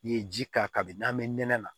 I ye ji k'a kan kabini n'an bɛ nɛnɛ